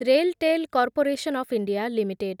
RailTel corporation of India limited